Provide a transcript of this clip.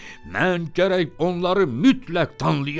Mən gərək onları mütləq danlayam.